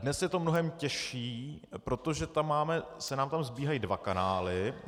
Dnes je to mnohem těžší, protože se nám tam sbíhají dva kanály.